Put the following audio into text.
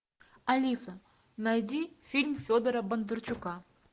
алиса найди фильм федора бондарчука